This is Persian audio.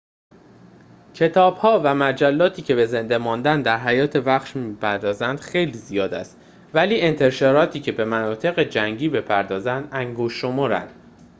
کتاب‌ها و مجلاتی که به زنده ماندن در حیات وحش می‌پردازند خیلی زیاد است ولی انتشاراتی که به مناطق جنگی بپردازند انگشت‌شمارند